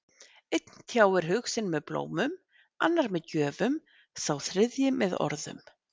Einn tjáir hug sinn með blómum, annar með gjöfum, sá þriðji með orðum.